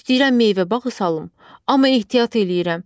İstəyirəm meyvə bağı salım, amma ehtiyat eləyirəm.